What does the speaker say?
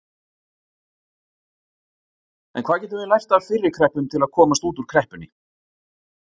En hvað getum við lært af fyrri kreppum til að komast út úr kreppunni?